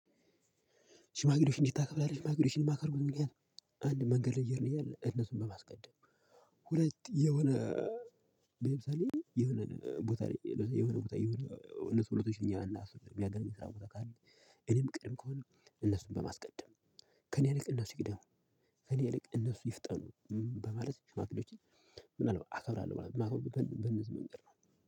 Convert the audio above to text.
ሽማግሌዎችን እንዴት ታከብራለህ? ሽማግሌዎችን የማከብርበት ምክንያት አንድ መንገድ እየሄድኩ እያለ እነሱን በማስቀደም። ሁለት የሆነ ለምሳሌ የሆነ ቦታ ላይ የሆነ ቦታ የሆነ እነሱ ሁለቶች እኛ ሰው ያገኘኸው ተካሄድ እኔ ምቀድም ከሆነ እነሱን በማስቀደም ከእኔ ይልቅ እነሱ ይቅድሙ ከእኔ ይልቅ እነሱ ይፍጠኑ። በማለት ሽማግሌዎችን አከብራለሁ ማለት ነው። ማከብርበት ምክንያት በነዝህ ምክንያትነው።